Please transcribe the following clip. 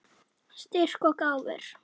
Styrk og gáfur.